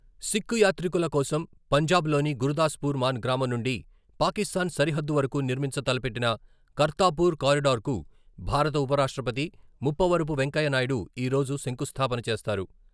సిక్కు యాత్రికుల కోసం పంజాబ్లోని గురుదాస్పూర్ మన్ గ్రామం నుండి పాకిస్తాన్ సరిహద్దు వరకు నిర్మించ తలపెట్టిన కర్తాపూర్ కారిడర్కు భారత ఉపరాష్ట్రపతి ముప్పవరపు వెంకయ్య నాయుడు ఈరోజు శంకుస్థాపన చేస్తారు.